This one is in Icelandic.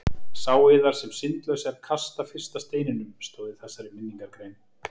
Sá yðar sem syndlaus er kasti fyrsta steininum, stóð í þessari minningargrein.